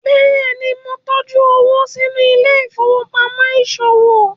béèni món ntọjú owo sínú Ile-ifowopamọ iṣowo